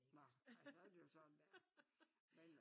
Nej ej så er det jo sådan det er men